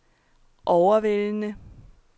overvældende